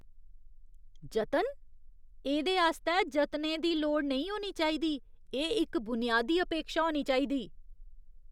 जतन? एह्दे आस्तै जतनें दी लोड़ नेईं होनी चाहिदी, एह् इक बुनियादी अपेक्षा होनी चाहिदी।